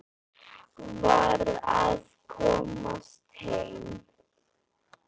Varð að komast heim.